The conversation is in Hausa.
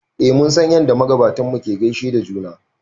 eh mun san yadda magabatanmu ke gaishe da juna